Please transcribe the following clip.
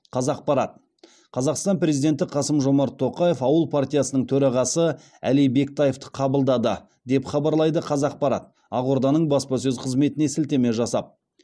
қазақпарат қазақстан президенті қасым жомарт тоқаев ауыл партиясының төрағасы әли бектаевты қабылдады деп хабарлайды қазақпарат ақорданың баспасөз қызметіне сілтеме жасап